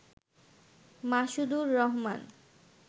Masudur Rahman